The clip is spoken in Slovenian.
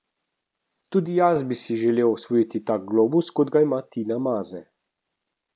Tudi jaz bi si želel osvojiti tak globus, kot ga ima Tina Maze.